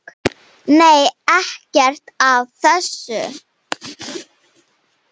Nei, ekkert af þessu.